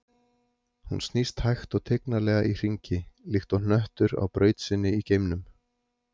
Hún snýst hægt og tignarlega í hringi, líkt og hnöttur á braut sinni í geimnum.